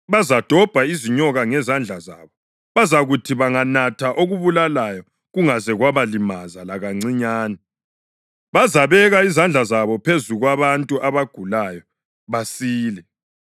bazadobha izinyoka ngezandla zabo; bazakuthi banganatha okubulalayo kungaze kwabalimaza lakancinyane; bazabeka izandla zabo phezu kwabantu abagulayo, basile.”